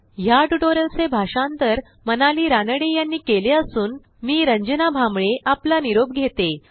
ह्या ट्युटोरियलचे भाषांतर मनाली रानडे यांनी केले असून मी रंजना भांबळे आपला निरोप घेते160